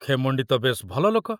ଖେମଣ୍ଡି ତ ବେଶ ଭଲ ଲୋକ।